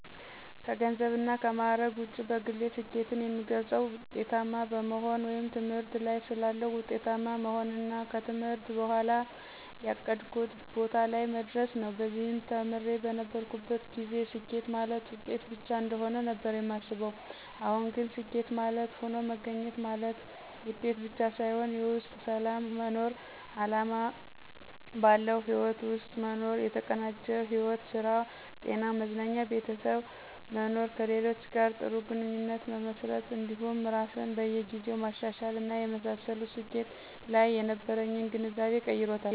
ከገንዘብና ከማዕረግ ውጪ በግሌ ስኬትን የምገልፀው ውጤታማ በመሆን ወይም ትምህርት ላይ ሳለሁ ውጤታማ መሆንንና ከትምህርት በኋም ያቀድኩት ቦታ ላይ መድረስን ነው። በዚህም ተማሪ በነበርኩበት ጊዜ ስኬት ማለት ውጤት ብቻ እንደሆነ ነበር ማስበው አሁን ግን ስኬት ማለት ሆኖ መገኘት ማለትም ውጤት ብቻ ሳይሆን የውስጥ ሰላም መኖር፣ አላማ ባለው ህይወት ውስጥ መኖር፣ የተቀናጀ ሕይወት ( ስራ፣ ጤና፣ መዝናኛ፣ ቤተሰብ) መኖር፣ ከሌሎች ጋር ጥሩ ግንኙነት መመስረት እንዲሁም ራስን በየ ጊዜው ማሻሻል እና የመሳሰሉት ስኬት ላይ የነበረኝን ግንዛቤ ቀይሮታል።